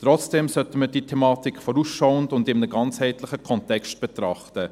Trotzdem sollten wir diese Thematik vorausschauend und in einem ganzheitlichen Kontext betrachten.